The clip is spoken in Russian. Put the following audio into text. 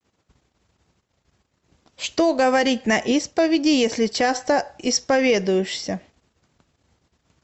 что говорить на исповеди если часто исповедуешься